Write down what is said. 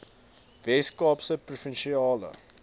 wes kaapse provinsiale